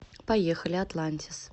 поехали атлантис